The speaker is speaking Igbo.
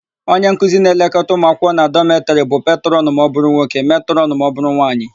Onyenkuzi na-elekọta ụmụakwụkwọ na dọmetịrị bụ petrọnụ ma ọbụrụ nwoke, metrọnụ ma ọbụrụ nwaanyị.